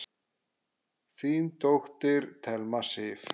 Þín dóttir, Thelma Sif.